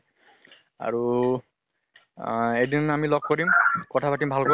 আৰু আহ এদিন আমি লগ কৰিম, কথা পাতিম ভালকে।